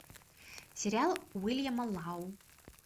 сериал уильяма лау